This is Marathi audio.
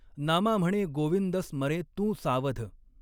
नामा म्हणॆ गॊविंद स्मरॆं तूं सावध.